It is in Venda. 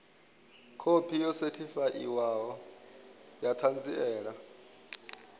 khophi yo sethifaiwaho ya ṱhanziela